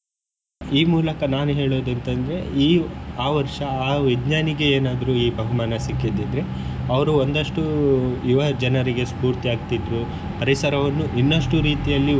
ಈ ಮೂಲಕ ನಾನ್ ಹೇಳೋದ್ ಎಂತಂದ್ರೆ ಈ ಆ ವರ್ಷ ಆ ವಿಜ್ಞಾನಿಗೆ ಏನಾದ್ರು ಈ ಬಹುಮಾನ ಸಿಕ್ಕಿದಿದ್ರೆ ಅವರು ಒಂದಷ್ಟು ಯುವ ಜನರಿಗೆ ಸ್ಪೂರ್ತಿ ಆಗ್ತಿದ್ರು ಪರಿಸರವನ್ನು ಇನ್ನಷ್ಟು ರೀತಿಯಲ್ಲಿ.